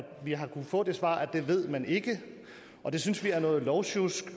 vi har fået det svar at det ved man ikke det synes vi er noget lovsjusk og